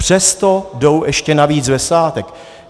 Přesto jdou ještě navíc ve svátek.